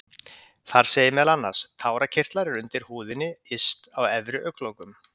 Þar segir meðal annars: Tárakirtlar eru undir húðinni yst á efri augnlokum.